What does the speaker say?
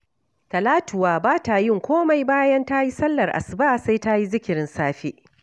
Talatuwa ba ta yin komai bayan ta yi sallar asuba, sai ta yi zikirin safe